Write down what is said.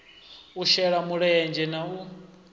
u shela mulenzhe na u